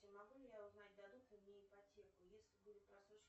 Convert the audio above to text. могу ли я узнать дадут ли мне ипотеку еслибудет просрочен